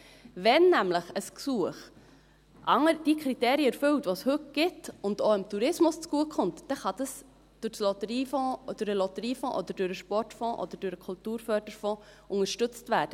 Wenn nämlich ein Gesuch die Kriterien erfüllt, die es heute gibt, und auch dem Tourismus zugutekommt, dann kann das durch den Lotteriefonds, durch den Sportfonds oder durch den Kulturförderfonds selbstverständlich unterstützt werden.